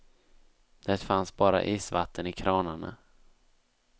Det fanns bara isvatten i kranarna.